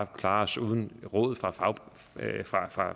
klare os uden råd fra fra